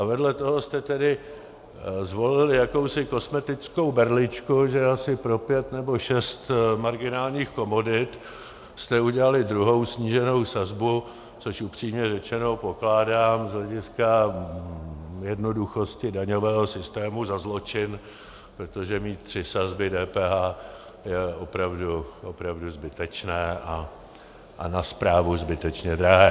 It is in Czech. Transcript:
A vedle toho jste tedy zvolili jakousi kosmetickou berličku, že asi pro pět nebo šest marginálních komodit jste udělali druhou sníženou sazbu, což upřímně řečeno pokládám z hlediska jednoduchosti daňového systému za zločin, protože mít tři sazby DPH je opravdu zbytečné a na správu zbytečně drahé.